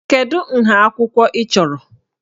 Kedu nha akwụkwọ ị chọrọ?